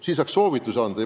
Peaks saama soovitusi anda.